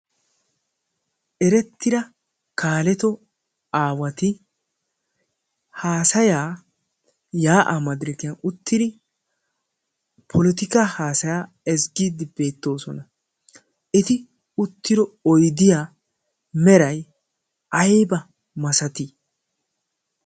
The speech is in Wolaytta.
erettira kaaleto aawati haasayaa yaa'aa madirakiyan uttidi polotika haasayaa ezggiiddi beettoosona eti uttiro oydiya meray ayba masatii